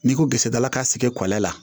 N'i ko kisɛdala ka sigi kɔlɔn la